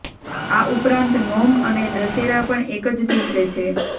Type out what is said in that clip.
આ ઉપરાંત નોમ અને દશેરા પણ એક જ દિવસે છે